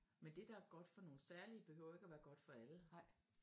Men det der er godt for nogle særlige behøver jo ikke og være godt for alle